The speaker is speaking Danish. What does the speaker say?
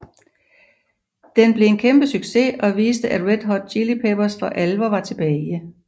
Den blev en kæmpe succes og viste at Red Hot Chili Peppers for alvor var tilbage